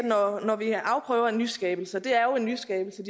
når vi afprøver en nyskabelse og det er jo en nyskabelse